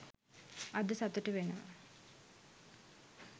අද සතුටු වෙනවා.